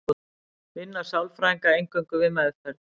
vinna sálfræðingar eingöngu við meðferð